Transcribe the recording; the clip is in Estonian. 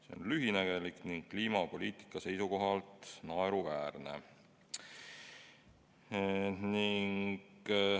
See on lühinägelik ning kliimapoliitika seisukohalt naeruväärne.